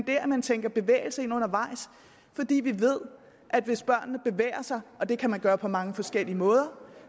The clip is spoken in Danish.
af at man tænker bevægelse ind undervejs fordi vi ved at hvis børnene bevæger sig og det kan man gøre på mange forskellige måder